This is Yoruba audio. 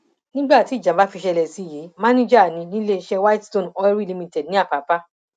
nígbà tí ìjàmbá fi ṣẹlẹ sí i yìí mànìjà ní níléeṣẹ widestone oilery limited ní àpápà